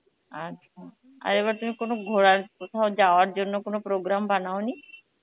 আচ্ছা, আর এবার তুমি কোনো ঘোরার কোথাও যাওয়ার জন্য কোনো program বানাওনি?